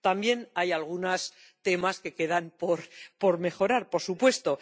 También, hay algunos temas que quedan por mejorar, por supuesto.